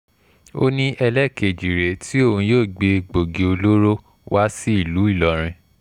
ó ní ẹlẹ́ẹ̀kejì rèé tí òun yóò gbé egbòogi olóró wá sí ìlú ìlọrin